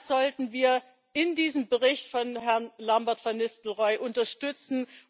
Das sollten wir in diesem Bericht von Herrn Lambert von Nistelrooij unterstützen.